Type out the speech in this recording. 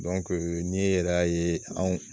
n'i yɛrɛ y'a ye anw